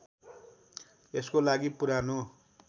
यसको लागि पुरानो